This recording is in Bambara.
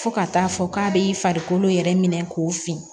Fo ka taa fɔ k'a b'i farikolo yɛrɛ minɛ k'o fin